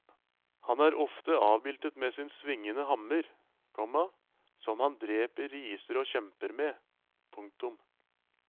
Han er ofte avbildet med sin svingende hammer, komma som han dreper riser og kjemper med. punktum